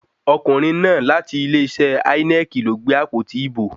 Ọkùnrin náà láti ilé-iṣẹ́ Ínẹ́ẹ̀kì ló gbé àpótí ìbò.